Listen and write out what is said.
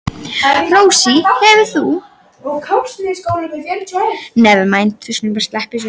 Rósey, hefur þú prófað nýja leikinn?